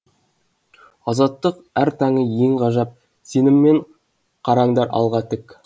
азаттық әр таңы ең ғажап сеніммен қараңдар алға тік